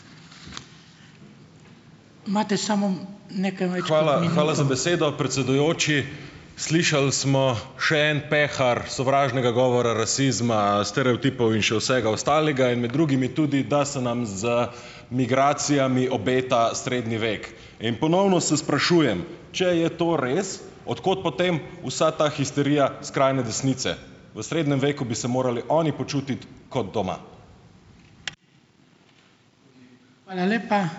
predsedujoči. Slišali smo še en pehar sovražnega govora, rasizma, stereotipov in še vsega ostalega in med drugimi tudi, da se nam z migracijami obeta srednji vek. In ponovno se sprašujem, če je to res, od kod potem vsa ta histerija skrajne desnice. V srednjem veku bi se morali oni počutiti kot doma.